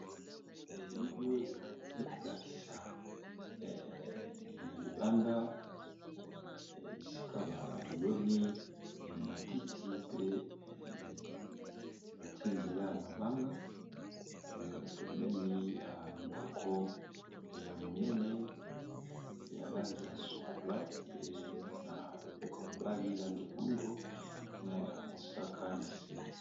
elili oyo ekolakisa na libanda esika baloni ematiti pe batie nzela ya mabanga pemeni ya ndako ya monene yalangya sokola pe na loboka mobali lang ya moindo na ya mosaka na se